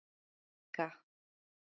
Olga